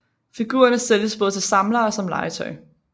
Figurerne sælges både til samlere og som legetøj